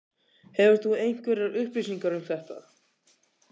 Hefur þú einhverjar upplýsingar um þetta?